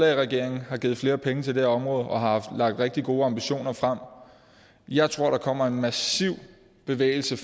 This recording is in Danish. regeringen har givet flere penge til det her område og har lagt rigtig gode ambitioner frem jeg tror der kommer en massiv bevægelse